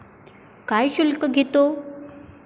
काय शुल्क घेतो?